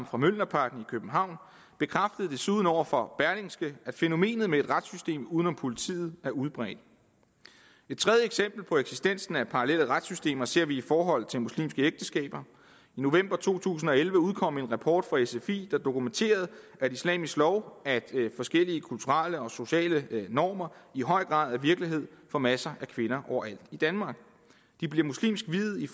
for mjølnerparken i københavn muhammad bekræftede desuden over for berlingske at fænomenet med et retssystem uden om politiet er udbredt et tredje eksempel på eksistensen af parallelle retssystemer ser vi i forhold til muslimske ægteskaber i november to tusind og elleve udkom en rapport fra sfi der dokumenterede at islamisk lov og forskellige kulturelle og sociale normer i høj grad er virkelighed for masser af kvinder overalt i danmark de bliver muslimsk viet i